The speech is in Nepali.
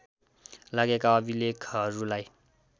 लागेका अभिलेखहरूलाई